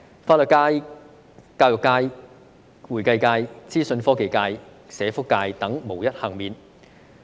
法律界、教育界、會計界、資訊科技界、社福界等無一幸免。